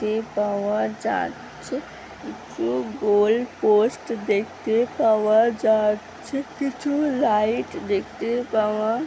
তে পাওয়া যাচ্ছে কিছু গোল পোস্ট দেখতে পাওয়া যাচ্ছে কিছু লাইট দেখতে পাওয়া--